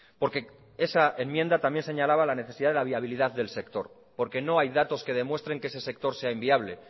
porque esa enmienda también señalaba la necesidad de la viabilidad del sector porque no hay datos que demuestren que ese sector sea inviable